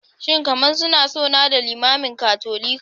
Shin kamar suna son nada limamin Katolika?